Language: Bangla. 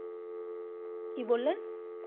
কি বললেন?